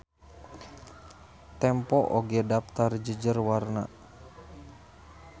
Tempo oge daptar jejer warna.